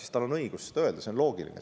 Ja tal on õigus seda öelda, see on loogiline.